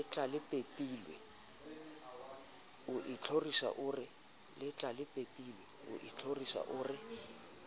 letlalepepilwe o ithorisa o re